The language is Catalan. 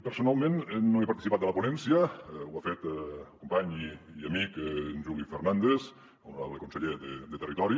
personalment no he participat de la ponència ho ha fet el company i amic juli fernàndez honorable conseller de territori